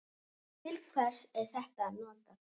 Til hvers er þetta notað?